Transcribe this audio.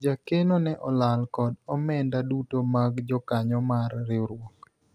jakeno ne olal kod omenda duto mag jokanyo mar riwruok